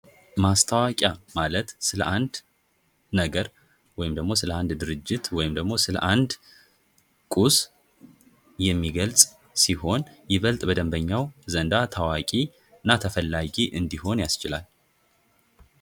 ማስታወቂያ ማለት ስለ አንድ ነገር ወይም ደግሞ ስለ አንድ ድርጅት ወይም ደግሞ ስለ አንድ ቁስ የሚገልጽ ሲሆን ይበልጥ በደምበኛው ዘንዳ ታዋቂ እና ተፈላጊ እንዲሆን ያስችላል።